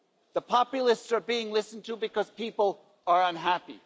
The populists are being listened to because people are unhappy.